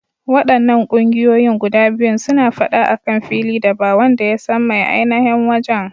Waɗannan ƙungiyoyin guda biyun suna faɗa akan fili da ba wanda yasan mai ainashin wajan.